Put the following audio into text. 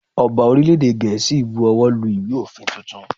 Ọba orílè èdè Gèésì bu owó lu ìwé òfin tuntun.